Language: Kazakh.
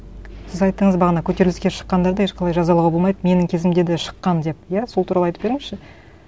сіз айттыңыз бағана көтеріліске шыққандарды ешқандай жазалуға болмайды менің кезімде де шыққан деп иә сол туралы айтып беріңізші